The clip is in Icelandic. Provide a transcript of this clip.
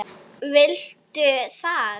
Veldu það.